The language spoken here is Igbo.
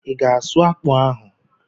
I ga-asụ akpụ ahụ?